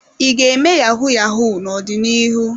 I ga-eme yahu-yahu n'ọdịnihu?